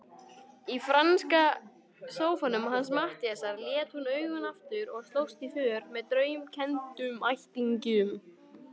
Í franska sófanum hans Matthíasar lét hún augun aftur og slóst í för með draumkenndum ættingjum.